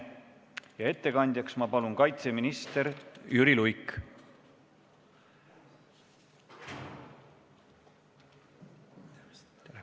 Palun, ettekandja kaitseminister Jüri Luik!